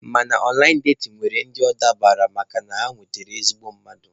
Mana ọnlaịn datin nwere ndị ọ dabaara makana ha nwetara ezigbo mmadụ.